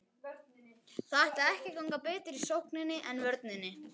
Það ætlaði ekki að ganga betur í sókninni en vörninni.